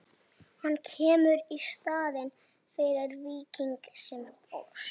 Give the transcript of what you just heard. Hann kemur í staðinn fyrir Víking sem fórst.